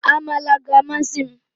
Amala ga-amasị m